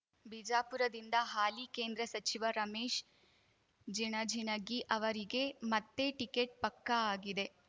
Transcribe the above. ಬಿಜಾಪುರದಿಂದ ಹಾಲಿ ಕೇಂದ್ರ ಸಚಿವ ರಮೇಶ್ ಜಿಣಜಿಣಗಿ ಅವರಿಗೆ ಮತ್ತೆ ಟಿಕೆಟ್ ಪಕ್ಕಾ ಆಗಿದೆ